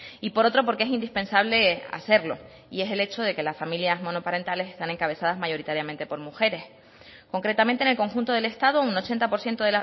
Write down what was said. y por otro porque es indispensable hacerlo y es el hecho de que las familias monoparentales están encabezadas mayoritariamente por mujeres concretamente en el conjunto del estado un ochenta por ciento